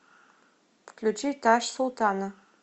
включи таш султана